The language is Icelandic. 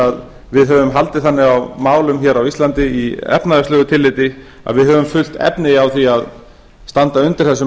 að við höfum haldið þannig á málum hér á íslandi í efnahagslegu tilliti að við höfum full efni á því að standa undir þessu